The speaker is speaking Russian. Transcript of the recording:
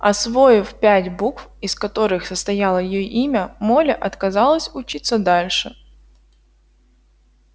освоив пять букв из которых состояло её имя молли отказалась учиться дальше